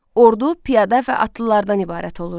Ordu piyada və atlılardan ibarət olurdu.